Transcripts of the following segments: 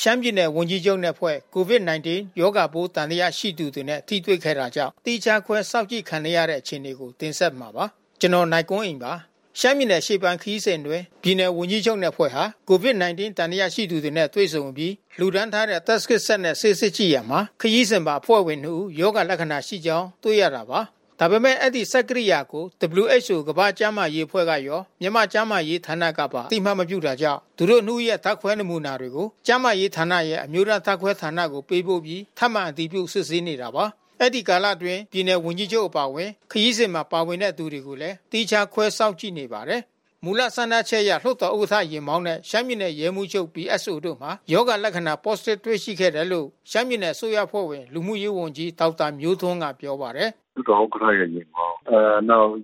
ရှမ်းပြည်နယ် ဝန်ကြီးချုပ်နဲ့ အဖွဲ့ COVID-19 ရောဂါပိုး သံသယရှိသူနဲ့ ထိတွေ့ခဲ့တာကြောင့် သီးခြားခွဲစောင့်ကြည့်ခံနေရတဲ့ အခြေနေကို ဗွီအိုအေမြန်မာပိုင်းသတင်းထောက် ကိုနိုင်ကွန်းအိန်းက တင်ဆက်ပေးမှာပါ။ ရှမ်းပြည်နယ် အရှေ့ပိုင်းခရီးစဉ်အတွင်း ပြည်နယ်ဝန်ကြီးချုပ်နဲ့အဖွဲ့ဟာ COVID-19 သံသယရှိသူတွေနဲ့တွေ့ဆုံအပြီး လှူဒါန်းထားတဲ့ Test Kit စက်နဲ့ ဆေးစစ်ကြည့်ရာမှာ ခရီးစဉ်ပါ အဖွဲ့ဝင်နှစ်ဦးမှာ ရောဂါလက္ခဏာရှိကြောင်း တွေ့ရတာပါ။ ဒါပေမဲ့ အဲဒီ စမ်းသပ်ကိရိယာကို WHO ကမ္ဘာ့ကျန်းမာရေးအဖွဲ့ရော မြန်မာကျန်းမာရေးဌာနကပါ အသိအမှတ် မပြုတာကြောင့် သူတို့နှစ်ဦးရဲ့ ဓါတ်ခွဲနမူနာတွေကို ကျန်းမာရေးဌာနရဲ့ အမျိုးသားဓါတ်ခွဲဌာနကို ပေးပို့ပြီးထပ်မံ အတည်ပြု စစ်ဆေးနေတာပါ။ အဲဒီကာလအတွင်းမှာ ပြည်နယ်ဝန်ကြီးချုပ်အပါအဝင် ခရီးစဉ်မှာ ပါဝင်သူတွေကိုလည်း သီးခြားခွဲစောင့်ကြည့်နေပါတယ်။ မူလစမ်းသပ်ချက်အရ လွှတ်တော်ဥက္ကဋ္ဌ ယာဉ်မောင်းနှင့်ရှမ်းပြည်နယ် ရဲမှူးချုပ် PSOတို့မှာ ရောဂါလက္ခဏာ Positive တွေ့ခဲ့တယ်လို့ ရှမ်းပြည်နယ်အစိုးရအဖွဲ့ဝင် လူမှုရေးဝန်ကြီး ဒေါက်တာမျိုးထွန်းက ပြောပါတယ်။ “လွှတ်တော်ဥက္ကဋ္ဌရဲ့ယာဉ်မောင်း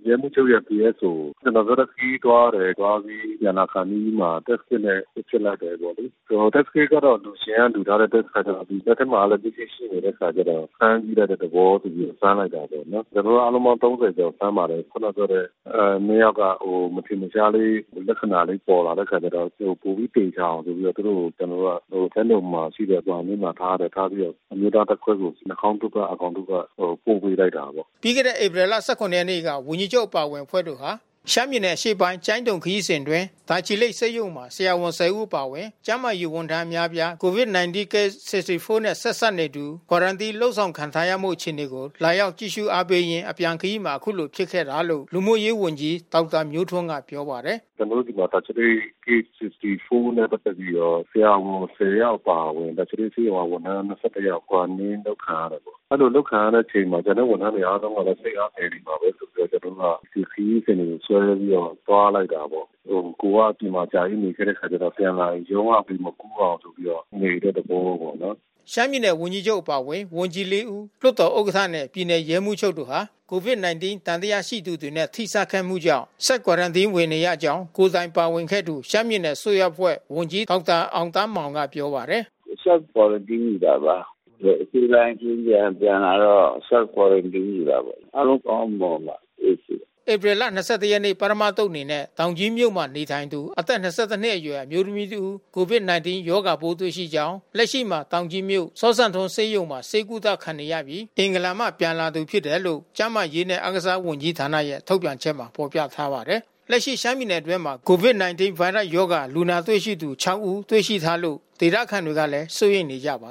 ရဲမှူးချုပ်ရဲ့ PSO။ ကျနော်ပြောတဲ့ ခရီးသွားတယ်။ သွားပြီးပြန်လာခါနီးမှာ Test Kit နဲ့ ဆေးစစ်လိုက်တယ်ပေါ့လေ။ Test Kit က အလှူရှင်ကလှူထားတဲ့အခါကျတော့ ဘက်ထဲမှာလည်း ပစ္စည်းရှိတဲ့ အခါကျတော့ စမ်းကြည့်တဲ့သဘောဆိုပြီး စမ်းလိုက်တယ်ပေါ့နော်။ ကျနော်တို့ အားလုံးပေါင်း ၃၀ ကျော်စမ်းပါတယ်။ ခဏ ပြောတဲ့ နှစ်ယောက်က မထင်မရှားလေး လက္ခဏာလေးပေါ်တဲ့အခါကျတော့ ပိုပြီးသေချာအောင်ဆိုပြီးတော့ သူတို့ကို ကျနော်တို့က ကျိုင်းတုံမှာရှိတဲ့ အဆောင်ထဲမှာထားတယ်။ ထားပြီးတော့ အမျိုးသားဓါတ်ခွဲကို နှာခေါင်းတို့က အာခေါင်တို့က ပို့ပေးလိုက်တာပေါ့။” ပြီးခဲ့တဲ့ဧပြီ ၁၇ ရက်နေ့က ဝန်ကြီးချုပ်အပါဝင်အဖွဲ့တို့ဟာ ရှမ်းပြည်နယ် အရှေ့ပိုင်းကျိုင်းတုံခရီးစဉ်အတွင်း တာချီ လိတ်ဆေးရုံမှာ ဆရာဝန် ၁၀ ဦး အပါဝင်ကျန်းမာရေးဝန်ထမ်းအများအပြားဟာ COVID-19 Case 64 နဲ့ ဆက်စပ်နေသူ Quarantine လုပ်ဆောင်ခံထားမှုအခြေအနေကို လာရောက်ကြည့်ရှု့အားပေးရင်း အပြန်ခရီးမှာ အခုလိုဖြစ်ခဲ့တာလို့ လူမှုရေးဝန်ကြီး ဒေါက်တာမျိုးထွန်းကပြောပါတယ်။ “ကျနော်တို့ဆီမှာ တာချီလိတ် Case 64 နဲ့ပက်သက်ပြီးတော့ ဆရာဝန် ၁၀ ယောက်အပါအဝင် တာချီလိတ်ဆေးရုံက ဝန်ထမ်း ၂၁ ယောက် Quarantine အလုပ်ခံထားရတယ်။ အဲဒီလိုအလုပ်ခံထားရတဲ့အချိန်မှာ ကျွန်တော်တို့ဝန်ထမ်းတွေအားလုံးကလည်း စိတ်အားငယ်နေမှာပဲ ဆိုပြီးမှ ကျနော်တို့က ဒီခရီးစဉ်ကို ဆွဲပြီးတော့သွားလိုက်တာပေါ့။ ကိုယ်က အပြင်မှာ အကြာကြီးနေခဲ့တဲ့အခါကျတော့ ပြန်လာရင်ရောဂါတွေမကူးအောင်ဆိုပြီးတော့ နေတဲ့သဘောပေါ့နော်။” ရှမ်းပြည်နယ် ဝန်ကြီးချုပ်အပါဝင် ဝန်ကြီး ၄ ဦး လွှတ်တော်ဥက္ကဋ္ဌနဲ့ ပြည်နယ် ရဲမှူးချုပ်တို့ဟာ COVID-19 သံသယရှိသူတွေနဲ့ ထိစပ်ခဲ့မှုကြောင့် self quarantine ဝင်နေကြောင်း ကိုယ်တိုင်ပါဝင်ခဲ့သူ ရှမ်းပြည်နယ် အစိုးရအဖွဲ့ ဝန်ကြီး ဒေါက်တာအောင်သန်းမောင် က ပြောပါတယ်။ “self quarantine ယူတာပါ။ အရှေ့ပိုင်းခရီးစဉ်ပြန်လာတော့ self quarantine ယူတာပေါ့။ အားလုံးကောင်းကောင်း မွန်မွန်ပါ။ အေးအေးဆေးဆေးပါ။” ဧပြီ ၂၁ ရက် ပထမ သုတ်အနေနဲ့ တောင်ကြီးမြို့မှာ နေထိုင်သူအသက် ၂၁နှစ် အရွယ် အမျိုးသမီးတဦး COVID-19 ရောဂါပိုးတွေ့ရှိကြောင်း လက်ရှိမှာ တောင်ကြီးမြို့ စဝ်စံထွန်း ဆေးရုံမှာ ဆေးကုသ ခံယူနေရပြီး အင်္ဂလန် မှ ပြန်လာသူဖြစ်တယ်လို့ ကျန်းမာရေးနဲ့ အားကစားဝန်ကြီးဌာနရဲ့ ထုတ်ပြန်ချက်မှာဖေါ်ပြထားပါတယ်။ လက်ရှိရှမ်းပြည်နယ်အတွင်းမှာ COVID-19 ဗိုင်းရပ်စ် ရောဂါလူနာတွေ့ရှိသူ ၆ ဦးတွေ့ရှိထားလို့ ဒေသခံတွေကလည်း စိုးရိမ်နေကြတာပါ